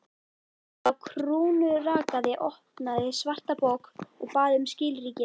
Sá krúnurakaði opnaði svarta bók og bað um skilríki.